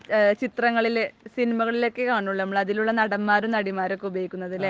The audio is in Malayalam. ചിത്രങ്ങളിലും സിനിമകളിൽ ഒക്കെ കാണൂളളൂ, നമ്മൾ അതിലുള്ള നടന്മാരും നടിമാരും ഒക്കെ ഉപയോഗിക്കുന്നത് അല്ലേ?